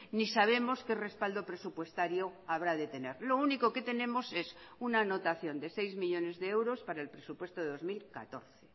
ni sabemos qué respaldo presupuestario habrá de tener lo único que tenemos es una anotación de seis millónes de euros para el presupuesto de dos mil catorce